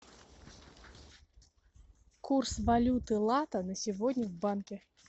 курс валюты лата на сегодня в банке